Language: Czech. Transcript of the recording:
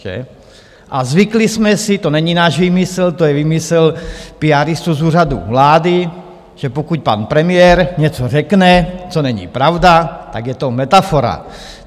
A zvykli jsme si, to není náš výmysl, to je výmysl píáristů z Úřadu vlády, že pokud pan premiér něco řekne, co není pravda, tak je to metafora.